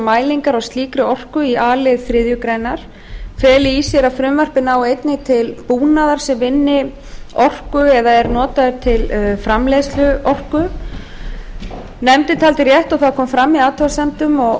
mælingar á slíkri orku í a lið þriðju grein feli í sér að frumvarpið nái einnig til búnaðar sem vinni orku eða er notaður til framleiðslu vegna athugasemda